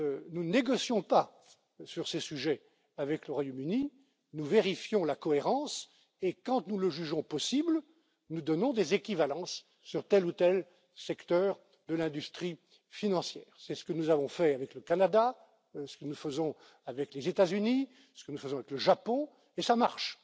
Nous ne négocions pas sur ces sujets avec le Royaume Uni, nous vérifions la cohérence et, quand nous le jugeons possible, nous donnons des équivalences sur tel ou tel secteur de l'industrie financière. C'est ce que nous avons fait avec le Canada, ce que nous faisons avec les États Unis, ce que nous faisons avec le Japon, et ça marche.